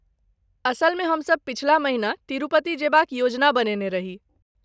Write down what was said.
असलमे, हमसभ पछिला महिना तिरुपति जयबा क योजना बनेने रही।